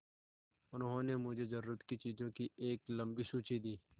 उन्होंने मुझे ज़रूरत की चीज़ों की एक लम्बी सूची दी